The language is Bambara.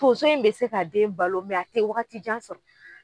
Tonso in be se ka den balo a te wagati jan sɔrɔ.